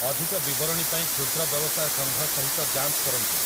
ଅଧିକ ବିବରଣୀ ପାଇଁ କ୍ଷୁଦ୍ର ବ୍ୟବସାୟ ସଂଘ ସହିତ ଯାଞ୍ଚ କରନ୍ତୁ ।